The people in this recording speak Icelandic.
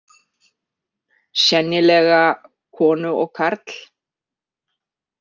Sennilega konu og karl.